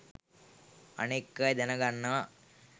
අනෙක් අය දැන ගන්නවා.